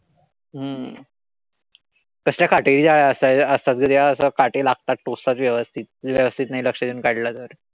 हम्म कसल्या काटेरी असतात ग त्या. असं काटे लागतात टोचतात व्यवस्थित नाई लक्ष देऊन काढलं तर.